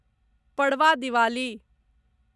Padwa Diwali